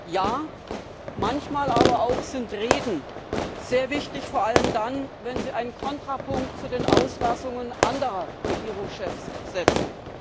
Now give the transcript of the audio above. Ja, manchmal sind aber auch Reden sehr wichtig, vor allem dann, wenn sie einen Kontrapunkt zu den Auslassungen anderer Regierungschefs setzen.